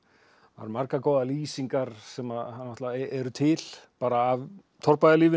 margar góðar lýsingar sem að náttúrulega eru til bara af